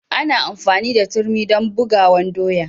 Ana amfani da turmi dan bugawan doya.